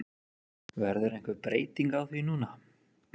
Verður einhver breyting á því núna?